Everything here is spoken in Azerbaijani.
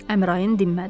Əmraənin dinmədi.